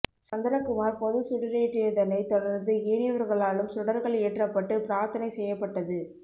சந்திரகுமார் பொதுச் சுடரேற்றியதனை தொடர்ந்து ஏனையவா்களாலும் சுடர்கள் ஏற்றப்பட்டு பிரார்த்தனை செய்யப்பட்டது